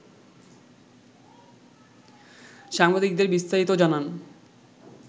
সাংবাদিকদের বিস্তারিত জানান